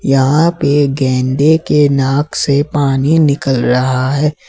यहां पे गैंडे के नाक से पानी निकल रहा है।